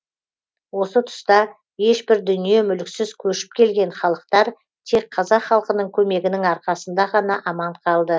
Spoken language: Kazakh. осы тұста ешбір дүние мүліксіз көшіп келген халықтар тек қазақ халқының көмегінің арқасында ғана аман қалды